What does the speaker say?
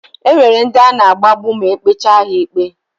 E nwere ndi a na-agbagbu ma e kpechaa ha ikpe.